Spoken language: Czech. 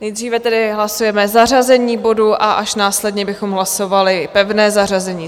Nejdříve tedy hlasujeme zařazení bodu a až následně bychom hlasovali pevné zařazení.